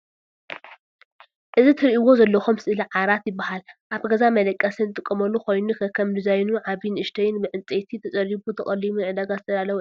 እዚ ትርእዎ ዘለኩም ስእሊ ዓራት ይባሃል። ኣብ ገዛ መደቀሲ ንጥቀመሉ ኮይኑ ከከም ዲዛይኑ ዓብይ ንእሽተይን ብዕንፀይቲ ተፀሪቡ ተቀሊሙ ንዕዳጋ ዝተዳለወ እዩ።